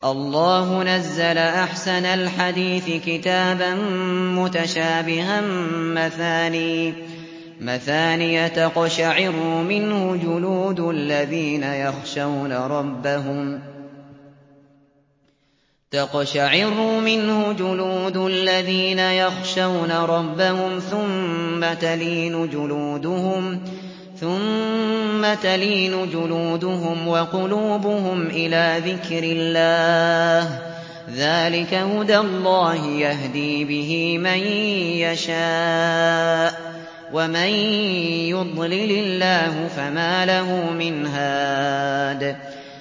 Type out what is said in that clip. اللَّهُ نَزَّلَ أَحْسَنَ الْحَدِيثِ كِتَابًا مُّتَشَابِهًا مَّثَانِيَ تَقْشَعِرُّ مِنْهُ جُلُودُ الَّذِينَ يَخْشَوْنَ رَبَّهُمْ ثُمَّ تَلِينُ جُلُودُهُمْ وَقُلُوبُهُمْ إِلَىٰ ذِكْرِ اللَّهِ ۚ ذَٰلِكَ هُدَى اللَّهِ يَهْدِي بِهِ مَن يَشَاءُ ۚ وَمَن يُضْلِلِ اللَّهُ فَمَا لَهُ مِنْ هَادٍ